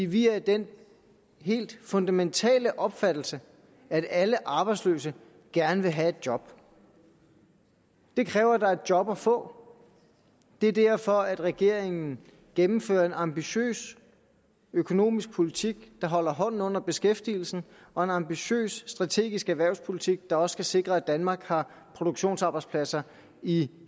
vi er af den helt fundamentale opfattelse at alle arbejdsløse gerne vil have et job det kræver at der er job at få det er derfor at regeringen gennemfører en ambitiøs økonomisk politik der holder hånden under beskæftigelsen og en ambitiøs strategisk erhvervspolitik der skal sikre at danmark har produktionsarbejdspladser i